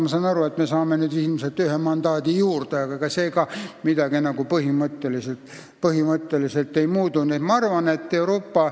Ma saan aru, et me saame nüüd ilmselt ühe mandaadi juurde, aga ega see ka midagi põhimõtteliselt ei muuda.